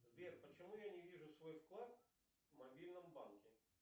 сбер почему я не вижу свой вклад в мобильном банке